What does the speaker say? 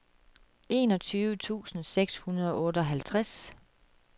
enogtyve tusind seks hundrede og otteoghalvtreds